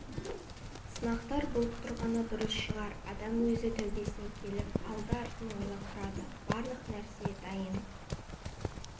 сынақтар болып тұрғаны дұрыс шығар адам өзі тәубесіне келіп алды-артын ойлап тұрады барлық нәрсе дайын